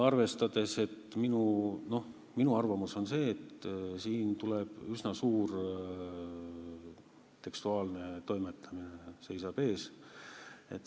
Aga minu arvamus on see, et siin seisab nagunii ees üsna suur tekstuaalne toimetamine.